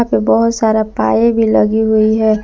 बहुत सारा पाए भी लगी हुई है।